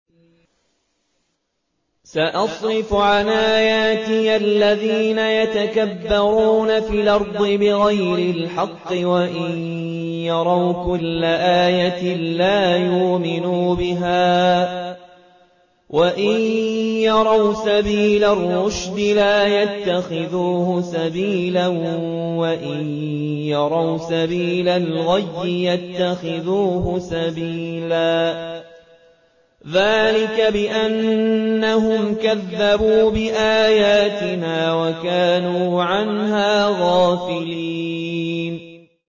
سَأَصْرِفُ عَنْ آيَاتِيَ الَّذِينَ يَتَكَبَّرُونَ فِي الْأَرْضِ بِغَيْرِ الْحَقِّ وَإِن يَرَوْا كُلَّ آيَةٍ لَّا يُؤْمِنُوا بِهَا وَإِن يَرَوْا سَبِيلَ الرُّشْدِ لَا يَتَّخِذُوهُ سَبِيلًا وَإِن يَرَوْا سَبِيلَ الْغَيِّ يَتَّخِذُوهُ سَبِيلًا ۚ ذَٰلِكَ بِأَنَّهُمْ كَذَّبُوا بِآيَاتِنَا وَكَانُوا عَنْهَا غَافِلِينَ